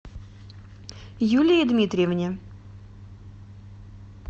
юлии дмитриевне